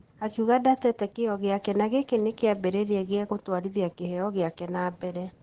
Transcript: Akiuga ndatete kĩyo gĩake na gĩkĩ nĩ kĩambĩrĩria gĩa gũtwarithia kĩheyo gĩake na mbere.